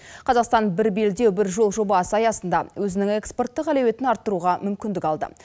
қазақтан бір белдеу бір жол жобасы аясында өзінің экспорттық әлеуетін арттыруға мүмкіндік алды